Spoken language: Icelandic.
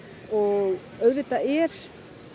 og auðvitað er